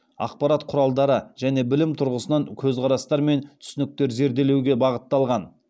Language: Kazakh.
ақпарат құралдары және білім тұрғысынан көзқарастар мен түсініктерді зерделеуге бағытталған